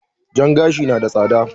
Jan gashi na da tsada.